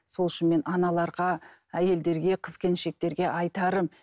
сол үшін мен аналарға әйелдерге қыз келіншектерге айтарым